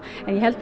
en ég held að